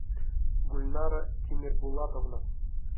гульнара тимербулатовна